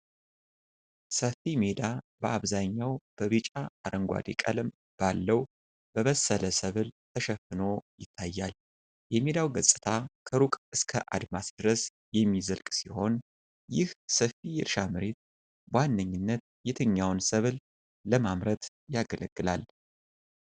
ሰፊ ሜዳ በአብዛኛው በቢጫ አረንጓዴ ቀለም ባለው በበሰለ ሰብል ተሸፍኖ ይታያል። የሜዳው ገጽታ ከሩቅ እስከ አድማስ ድረስ የሚዘልቅ ሲሆን። ይህ ሰፊ የእርሻ መሬት በዋነኝነት የትኛውን ሰብል ለማምረት ያገለግላል?